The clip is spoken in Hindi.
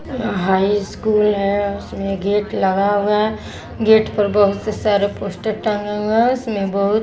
यहाँ हाईस्कूल है उसमें गेट लगा हुआ है गेट पर बहुत से सारे पोस्टर टंगे हुए हैं उसमें बहुत --